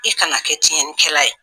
E kana kɛ tiɲɛni kɛla ye.